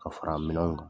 Ka fara minɛnw kan